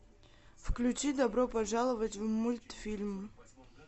включи добро пожаловать в мультфильм